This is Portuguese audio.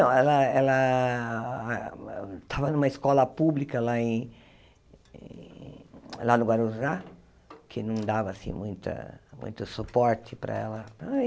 Ela ela estava em uma escola pública lá em lá no Guarujá, que não dava assim muita muito suporte para ela.